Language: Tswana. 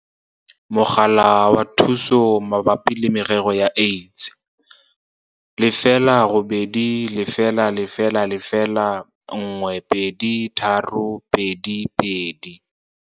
Mogala wa Thuso Mabapi le Merero ya AIDS - 0800 012 322.